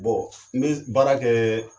Bɔn n be baara kɛ